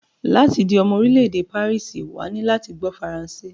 Láti di omo orílé èdè pàríìsì, wà á ní láti gbó faransé.